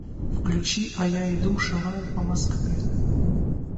включи а я иду шагаю по москве